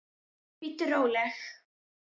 Bíddu róleg!